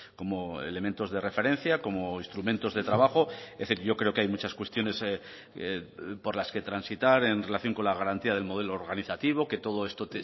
como elementos de referencia como instrumentos de trabajo es decir yo creo que hay muchas cuestiones por las que transitar en relación con la garantía del modelo organizativo que todo esto